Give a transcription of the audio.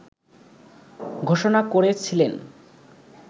ঘোষণা করেছিলেন